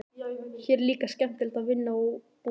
Hér er líka skemmtilegt að vinna og búa.